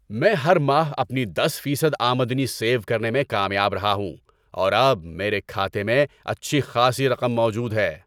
میں ہر ماہ اپنی دس فیصد آمدنی سیو کرنے میں کامیاب رہا ہوں اور اب میرے کھاتے میں اچھی خاصی رقم موجود ہے۔